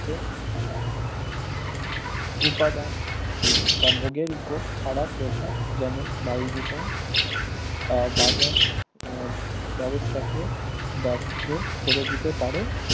পক্ষে উপাদান বা ভোগের উপর খারাপ প্রভাব যেমন বায়ুদূষণ আহ বাজার উম ব্যবস্থাকে ব্যর্থ করেদিতে পারে